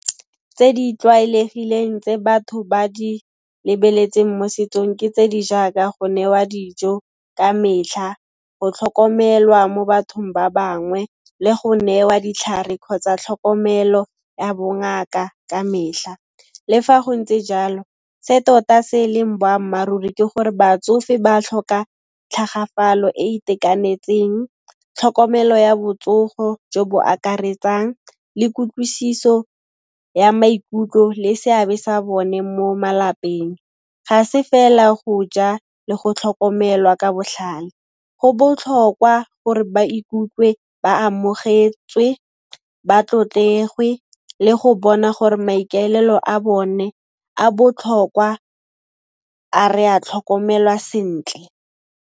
Tse di tlwaelegileng tse batho ba di lebeletseng mo setsong ke tse di jaaka go newa dijo ka metlha, go tlhokomelwa mo bathong ba bangwe le go newa ditlhare kgotsa tlhokomelo ya bongaka ka mehla. Le fa go ntse jalo, se tota se e leng boammaaruri ke gore batsofe ba tlhoka tlhagafalo e e itekanetseng, tlhokomelo ya botsogo jo bo akaretsang le kutlwisiso ya maikutlo le seabe sa bone mo malapeng, ga se fela go ja le go tlhokomelwa ka botlhale. Go botlhokwa gore ba ikutlwe ba amogetswe, ba tlotlegwe le go bona gore maikaelelo a bone a botlhokwa, a re a tlhokomelwa sentle.